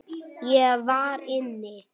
Ég var inni.